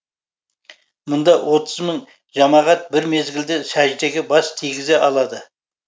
мұнда отыз мың жамағат бір мезіглде сәждеге бас тигізе алады